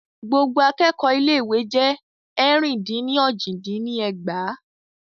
Gbogbo akẹ́kọ̀ọ́ ilé ìwé jé ẹ̀rin-dín-ní-ojì dín ní ẹgbàá.